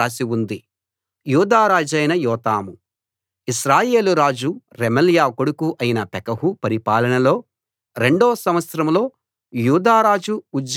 ఇశ్రాయేలు రాజు రెమల్యా కొడుకు అయిన పెకహు పరిపాలనలో రెండో సంవత్సరంలో యూదా రాజు ఉజ్జియా కొడుకు యోతాము పరిపాలన ఆరంభించాడు